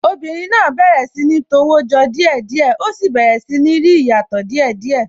Obìnrin náà bẹ̀rẹ̀ sí ní tọwọ́ jọ díẹ̀ díẹ̀, ó sì bẹ̀rẹ̀ sí ní rí ìyàtọ̀ díè díẹ̀